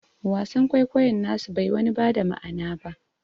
Wasan kwaikoyon nasu bai wani bada ma'ana ba